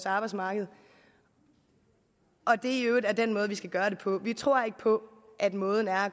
arbejdsmarkedet og at det i øvrigt er den måde vi skal gøre det på vi tror ikke på at måden er